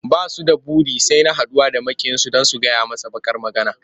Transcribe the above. Ba su da buri sai na haɗuwa da maƙiyinsu don su gyaya masa baƙar magana.